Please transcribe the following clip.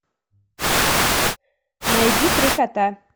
найди три кота